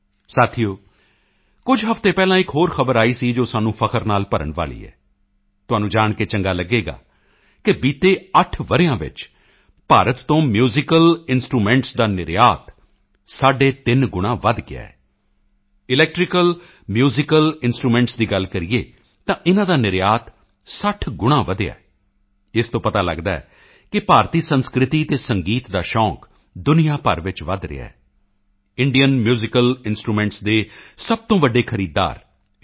ਸਾਥੀਓ ਕੁਝ ਹਫ਼ਤੇ ਪਹਿਲਾਂ ਇੱਕ ਹੋਰ ਖ਼ਬਰ ਆਈ ਸੀ ਜੋ ਸਾਨੂੰ ਮਾਣ ਨਾਲ ਭਰਨ ਵਾਲੀ ਹੈ ਤੁਹਾਨੂੰ ਜਾਣ ਕੇ ਚੰਗਾ ਲਗੇਗਾ ਕਿ ਬੀਤੇ 8 ਵਰ੍ਹਿਆਂ ਵਿੱਚ ਭਾਰਤ ਤੋਂ ਮਿਊਜ਼ੀਕਲ ਇੰਸਟਰੂਮੈਂਟਾਂ ਦਾ ਨਿਰਯਾਤ ਸਾਢੇ ਤਿੰਨ ਗੁਣਾਂ ਵਧ ਗਿਆ ਹੈ ਇਲੈਕਟ੍ਰੀਕਲ ਮਿਊਜ਼ੀਕਲ ਇੰਸਟਰੂਮੈਂਟਾਂ ਦੀ ਗੱਲ ਕਰੀਏ ਤਾਂ ਇਨ੍ਹਾਂ ਦਾ ਨਿਰਯਾਤ 60 ਗੁਣਾਂ ਵਧਿਆ ਹੈ ਇਸ ਤੋਂ ਪਤਾ ਲਗਦਾ ਹੈ ਕਿ ਭਾਰਤੀ ਸੰਸਕ੍ਰਿਤੀ ਅਤੇ ਸੰਗੀਤ ਦਾ ਸ਼ੌਕ ਦੁਨੀਆ ਭਰ ਵਿੱਚ ਵਧ ਰਿਹਾ ਹੈ ਇੰਡੀਅਨ ਮਿਊਜ਼ੀਕਲ ਇੰਸਟਰੂਮੈਂਟਾਂ ਦੇ ਸਭ ਤੋਂ ਵੱਡੇ ਖਰੀਦਦਾਰ ਯੂ